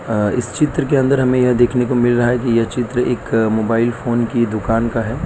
अ इस चित्र के अंदर हमें यह देखने को मिल रहा है कि यह चित्र एक मोबाइल फोन की दुकान का है।